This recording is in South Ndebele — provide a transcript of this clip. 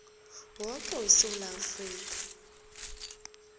woke wesewula afrika